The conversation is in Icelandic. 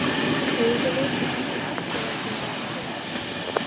Hefur þú séð mikið til Aftureldingar í sumar?